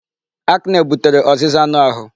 Acne butere ọzịza anụ ahụ.